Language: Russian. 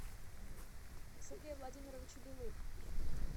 сергея владимировича белых